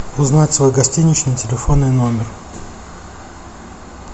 узнать свой гостиничный телефонный номер